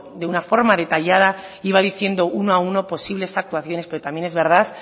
de una forma detallada iba diciendo uno a uno posibles actuaciones pero también es verdad